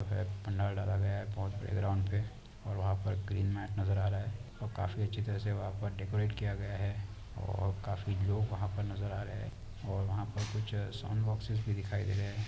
--पंडाल डाला गया है बहुत बड़े पल्य ग्राउंड पे और वहाँ पे ग्रीन मैट नजर आ रहा और काफी अच्छी तरफ से वहाँ पर डेकोरेट किया है और काफी लोग वहा पर नजर आ रहे और वहाँ पे कुछ साउंड बॉक्स भी दिखाई दे रहे है।